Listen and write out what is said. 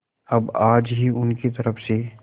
अब आज ही उनकी तरफ से